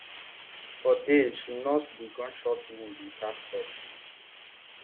for days she nurse di gunshot wound without help